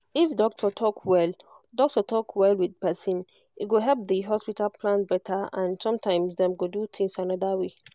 if doctor talk well doctor talk well with person e go help the hospital plan better and sometimes dem go do things another way